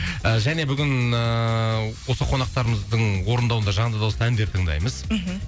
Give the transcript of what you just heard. і және бүгін ііі осы қонақтарымыздың орындауында жанды дауыста әндер тыңдаймыз мхм